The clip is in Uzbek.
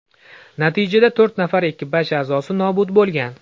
Natijada to‘rt nafar ekipaj a’zosi nobud bo‘lgan.